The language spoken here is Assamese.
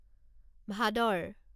ভাদৰ